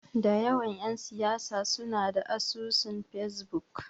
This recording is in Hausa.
Da yawan ƴan siyasa suna da asusun Fesbuk.